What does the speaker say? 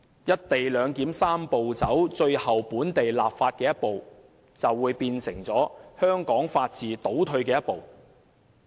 "一地兩檢"的"三步走"程序的最後一步——本地立法——將會變成香港法治倒退的一步。